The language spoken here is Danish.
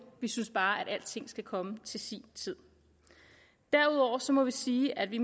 vi synes bare at alting skal komme til sin tid derudover må vi sige at vi